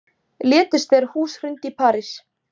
Létust þegar hús hrundi í París